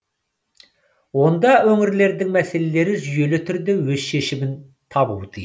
онда өңірлердің мәселелері жүйелі түрде өз шешімін табуы тиіс